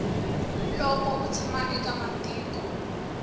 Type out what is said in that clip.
loko u tshama eka matiko